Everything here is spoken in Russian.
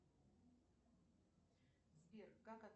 сбер как